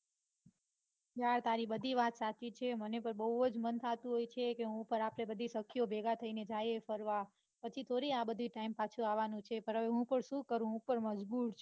યાર તારી બધી વાત સાચી છે મને પણ બઉ જ મન થાતું હોય છે કે હું પણ આપડે બધી સખીઓ ભેગા થાઈ ને જઇયે ફરવા પછી થોડી આ બધો time પાછો આવાનો છે.